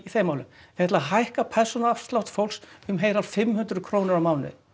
þeim málum þau ætla að hækka persónuafslátt fólks um heilar fimm hundruð krónur á mánuði